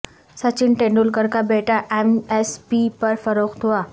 سچن ٹنڈولکر کا بیٹا M S P پر فروخت ہوا